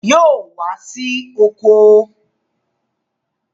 Yóò wá sí oko!